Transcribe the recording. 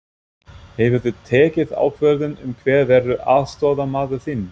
Hefurðu tekið ákvörðun um hver verður aðstoðarmaður þinn?